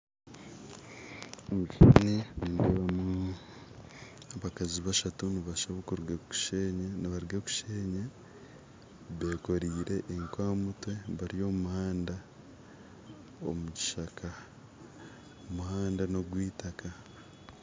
Omu kishuushani nindeebamu abakazi bashatu nibaruga kusheenya bekoreire eku aha mutwe bari omu muhanda omu kishaka omuhanda n'ogweitaka